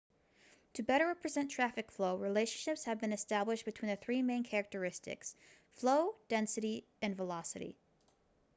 to better represent traffic flow relationships have been established between the three main characteristics: 1 flow 2 density and 3 velocity